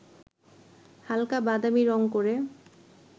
হালকা বাদামী রঙ করে